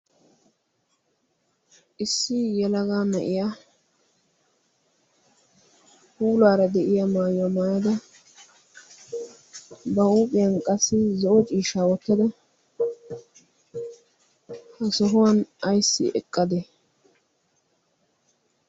issi yalagaa na'iya huuluaara de'iya maayyuwaa maayada ba huuphiyan qassi zo'o ciishaa wottada ha sohuwan ayssi eqqade?